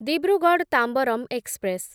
Dibrugarh Tambaram express